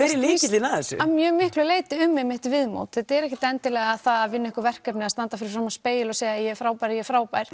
er lykillinn að þessu að mjög miklu leyti um einmitt viðmót þetta er ekkert endilega það að vinna einhver verkefni eða standa fyrir framan spegil og segja ég er frábær ég er frábær